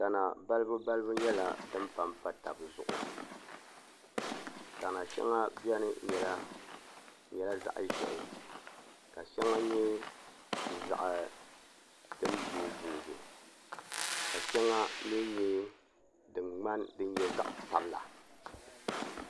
Tana balibubalibu nyɛla din pa m-pa taba zuɣu tana shɛŋa beni n-nyɛla zaɣ' ʒɛhi ka shɛŋa nyɛ din boobooɡi ka shɛŋa mi nyɛ din nyɛ zaɣ' sabila